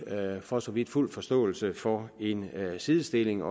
for så vidt fuld forståelse for en sidestilling